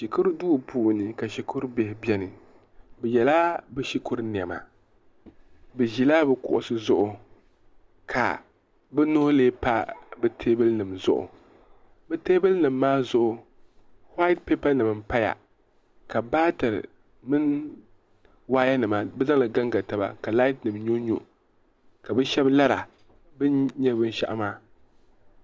shikuru duu puuni ka shikuru bihi beni bɛ yela bɛ shikuru nema bɛ ʒila bɛ kuɣisi zuɣu ka bɛ nuhi lee pa bɛ teebuli nima zuɣu bɛ teebuli nima maa zuɣu huat pipanima m-paya ka baatari mini waayanima bɛ zaŋli gaŋga taba ka laatinima nyɔnyɔ ka bɛ shɛba lara bɛ nya binshɛɣu maa.